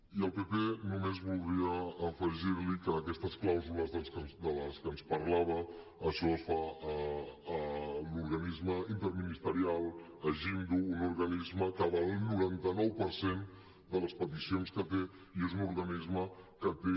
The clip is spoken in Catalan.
i al pp només voldria afegir li que aquestes clàusules de les que ens parlava això es fa a l’organisme interministerial a jimddu un organisme que valida el noranta nou per cent de les peticions que té i és un organisme que té